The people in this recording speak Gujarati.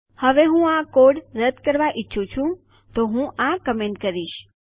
હવે હું આ કોડ રદ કરવા ઈચ્છું છું તો હું આ કમેન્ટ કરીશ